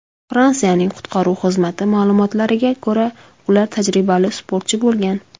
Fransiyaning qutqaruv xizmati ma’lumotlariga ko‘ra, ular tajribali sportchi bo‘lgan.